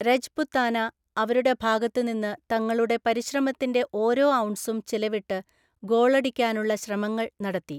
രജ്പുത്താന, അവരുടെ ഭാഗത്ത് നിന്ന്, തങ്ങളുടെ പരിശ്രമത്തിന്റെ ഓരോ ഔൺസും ചെലവിട്ട് ഗോളടിക്കാനുള്ള ശ്രമങ്ങൾ നടത്തി.